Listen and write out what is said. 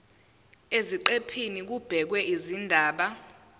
eziqephini kubhekwe izindaba